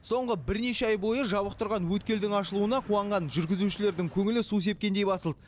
соңғы бірнеше ай бойы жабық тұрған өткелдің ашылуына қуанған жүргізушілердің көңілі су сепкендей басылды